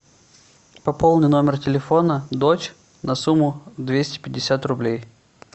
пополни номер телефона дочь на сумму двести пятьдесят рублей